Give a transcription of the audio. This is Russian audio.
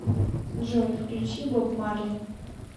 джой включи боб марли